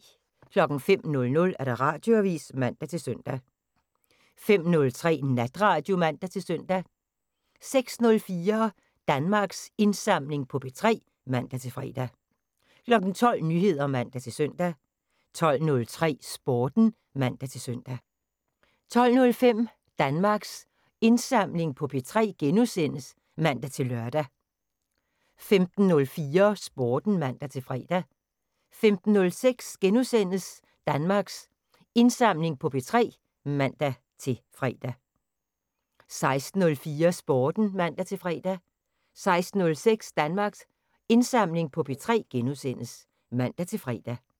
05:00: Radioavisen (man-søn) 05:03: Natradio (man-søn) 06:04: Danmarks Indsamling på P3 (man-fre) 12:00: Nyheder (man-søn) 12:03: Sporten (man-søn) 12:05: Danmarks Indsamling på P3 *(man-lør) 15:04: Sporten (man-fre) 15:06: Danmarks Indsamling på P3 *(man-fre) 16:04: Sporten (man-fre) 16:06: Danmarks Indsamling på P3 *(man-fre)